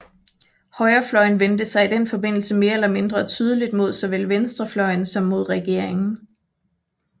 Højrefløjen vendte sig i den forbindelse mere eller mindre tydeligt mod såvel venstrefløjen som mod regeringen